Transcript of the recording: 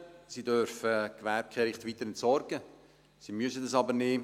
Sie dürfen Gewerbekehricht weiter entsorgen, sie müssen aber nicht.